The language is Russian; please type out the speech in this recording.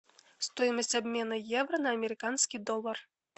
стоимость обмена евро на американский доллар